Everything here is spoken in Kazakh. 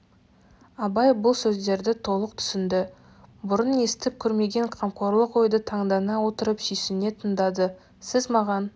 абай бұл сөздерді толық түсінді бұрын естіп көрмеген қамқорлық ойды таңдана отырып сүйсіне тыңдады сіз маған